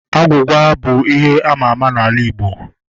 Agwugwa bụ ihe àmà àmà n'ala Igbo